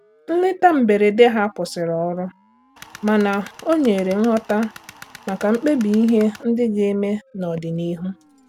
Nleta mberede ha kwụsịrị ọrụ, mana o nyere nghọta maka mkpebi ihe ndị ga-eme n'ọdịnihu.